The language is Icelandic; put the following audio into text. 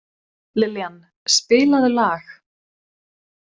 Liljan, spilaðu lag.